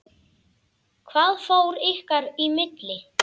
Hvað fór ykkar í milli?